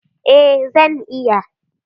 Eh, zan iya.